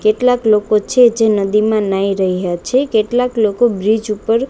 કેટલાક લોકો છે જે નદીમાં નાઇ રહ્યા છે કેટલાક લોકો બ્રીજ ઉપર--